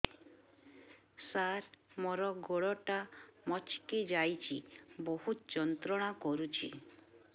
ସାର ମୋର ଗୋଡ ଟା ମଛକି ଯାଇଛି ବହୁତ ଯନ୍ତ୍ରଣା କରୁଛି